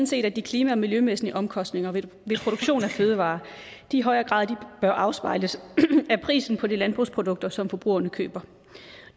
set at de klima og miljømæssige omkostninger ved produktion af fødevarer i højere grad bør afspejles af prisen på de landbrugsprodukter som forbrugerne køber